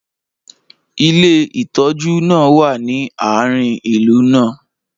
ilé ìtójú náà wa ni aarin ìlú náà